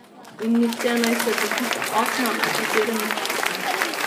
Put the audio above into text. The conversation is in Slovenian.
In nihče naj se dotika okna, po katerem je pisal.